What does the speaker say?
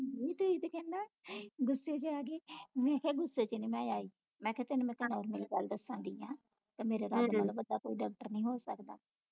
ਗੁੱਸੇ ਵਿਚ ਆ ਗਏ ਮੈਂ ਕਿਹਾ ਗੁੱਸੇ ਵਿਚ ਨੀ ਮੈ ਆਈ ਮੈਂ ਕਿਹਾ ਤੈਨੂੰ ਮੈਂ ਗੱਲ ਦੱਸਣ ਦਈ ਆ ਤੇ ਮੇਰੇ ਤੋਂ ਵੱਡਾ ਕੋਈ ਡਾਕਟਰ ਨਹੀਂ ਹੋ ਸਕਦਾ